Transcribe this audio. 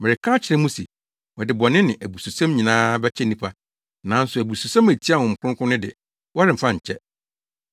Mereka akyerɛ mo se, wɔde bɔne ne abususɛm nyinaa bɛkyɛ nnipa, nanso abususɛm a etia Honhom Kronkron no de, wɔremfa nkyɛ.